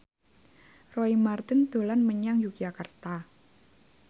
Roy Marten dolan menyang Yogyakarta